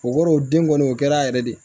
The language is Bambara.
O kɔrɔ o den kɔni o kɛra yɛrɛ de